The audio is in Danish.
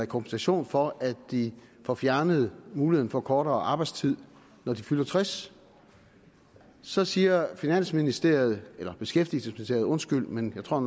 kompensation for at de får fjernet muligheden for kortere arbejdstid når de fylder tres så siger finansministeriet eller beskæftigelsesministeriet undskyld men jeg tror